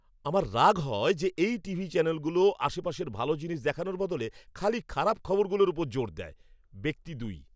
আমার রাগ হয় যে এই টিভি চ্যানেলগুলো আশেপাশের ভাল জিনিস দেখানোর বদলে খালি খারাপ খবরগুলোর ওপর জোর দেয়। ব্যক্তি দুই